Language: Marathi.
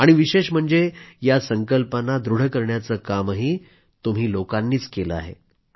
आणि विशेष म्हणजे या संकल्पांना दृढ करण्याचं कामही तुम्ही लोकांनीच केलं आहे